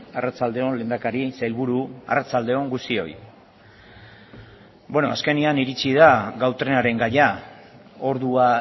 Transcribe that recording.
arratsalde on lehendakari sailburu arratsalde on guztioi azkenean iritsi da gau trenaren gaia ordua